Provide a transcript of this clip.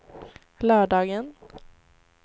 lördagen